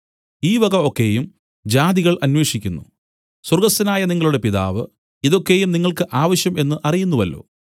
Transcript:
ഈ വക ഒക്കെയും ജാതികൾ അന്വേഷിക്കുന്നു സ്വർഗ്ഗസ്ഥനായ നിങ്ങളുടെ പിതാവ് ഇതൊക്കെയും നിങ്ങൾക്ക് ആവശ്യം എന്നു അറിയുന്നുവല്ലോ